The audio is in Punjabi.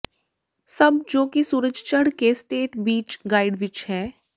ਸਭ ਜੋ ਕਿ ਸੂਰਜ ਚੜ੍ਹ ਕੇ ਸਟੇਟ ਬੀਚ ਗਾਈਡ ਵਿੱਚ ਹੈ